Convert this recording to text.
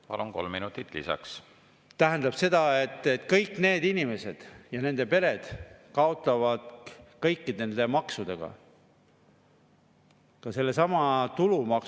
Kuidas me saame siis usaldada seda valitsust, kui rahandusminister ei tea, millised maksud Eesti Vabariigis kehtivad ja millised on nende maksude määrad, ja kui ta räägib televisioonis, laua taga ja siinsamas kõnepuldis, et kuskil on 30% ja kuskil on veel rohkem, kuigi me teame kõik ühtemoodi, et seaduses on väga selgelt kirjutatud, et see on 20?